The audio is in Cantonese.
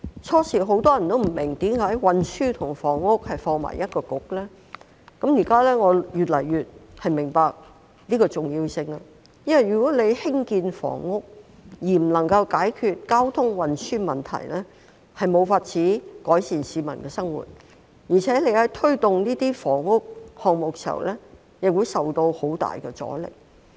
當初很多人也不明白為何運輸及房屋的事務要交由同一個政策局負責，我現在越來越明白箇中的重要性，因為如果興建房屋而不能夠解決交通運輸的問題，便無法改善市民生活，而且在推動房屋項目時亦會受到很大阻力。